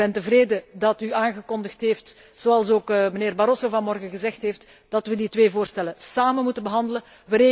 Dus ik ben tevreden dat u aangekondigd heeft zoals ook mijnheer Barroso vanochtend gezegd heeft dat wij die twee voorstellen samen moeten behandelen.